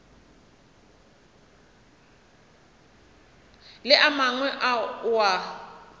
le a mangwe ao a